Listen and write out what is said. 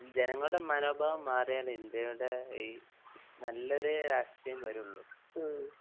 ജനങ്ങളുടെ മനോഭാവം മാറിയാലെ ഇൻഡ്യയുടെ ഈ നല്ലൊരു രാഷ്ട്രീയം വരുള്ളു.